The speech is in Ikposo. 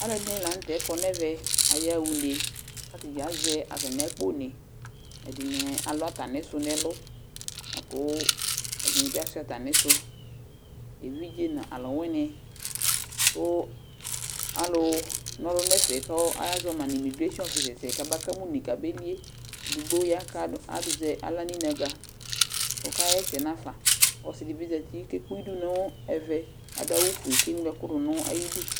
Alʋɛdɩnɩ la nʋ tɛ kɔ nʋ ɛvɛ Ayaɣa une kʋ atanɩ azɛ atamɩ akponɩ, ɛdɩnɩ alʋ atamɩsʋ nʋ ɛlʋ la kʋ ɛdɩnɩ bɩ asʋɩa atamɩsʋ, evidze nʋ alʋwɩnɩ kʋ alʋna ɔlʋ nʋ ɛfɛ kʋ azɔ ma nʋ imigresin ɔfɩsɛs kabakama une kabeli yɛ, edigbo ya kʋ ad azɛ aɣla nʋ inǝgǝ kʋ ɔkaɣa ɛsɛ nafa Ɔsɩ dɩ bɩ zati kʋ ekpe idu nʋ ɛvɛ, adʋ awʋfue kʋ eŋlo ɛkʋ dʋ nʋ ayidu